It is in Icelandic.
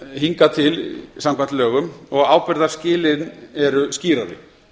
hingað til samkvæmt lögum og ábyrgðarskilin eru skýrari